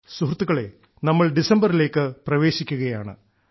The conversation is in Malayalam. സുഹൃത്തുക്കളേ നമ്മൾ ഡിസംബറിലേക്ക് പ്രവേശിക്കുകയാണ്